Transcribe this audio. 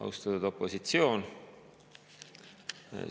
Austatud opositsioon!